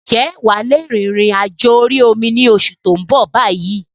Ǹjẹ́ wà lè rìn-ìrìn àjò orí omi ni oṣù tó ń bọ̀ bayyi?